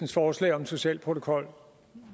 forslag om en social protokol